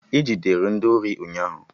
E Jidere ndị ori ụnyaahụ